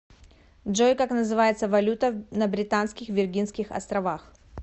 джой как называется валюта на британских виргинских островах